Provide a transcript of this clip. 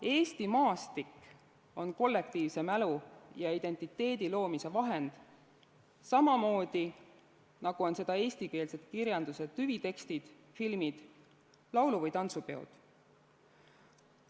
Eesti maastik on kollektiivse mälu ja identiteedi loomise vahend, samamoodi nagu on seda eestikeelse kirjanduse tüvitekstid, filmid, laulu- või tantsupeod.